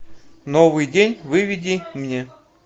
новый день выведи мне